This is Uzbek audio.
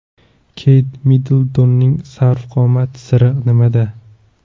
Keyt Middltonning sarv qomati siri nimada?.